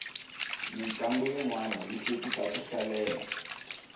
mintlangu yinwani ya hlekisa ku hlalela